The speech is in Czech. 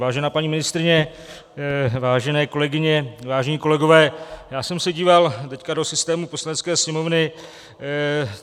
Vážená paní ministryně, vážené kolegyně, vážení kolegové, já jsem se díval teď do systému Poslanecké sněmovny.